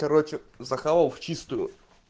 короче захавал в чистую